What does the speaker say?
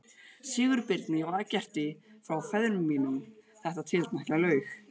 Sigurbirni og Eggerti frá ferðum mínum þetta tiltekna laug